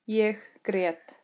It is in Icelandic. Ég grét.